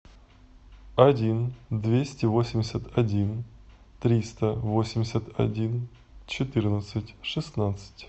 один двести восемьдесят один триста восемьдесят один четырнадцать шестнадцать